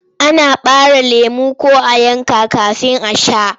Ana ɓare lemo ko a yanka kafin a sha.